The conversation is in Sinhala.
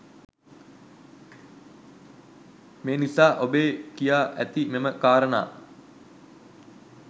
එම නිසා ඔබේ කියා ඇති මෙම කාරණා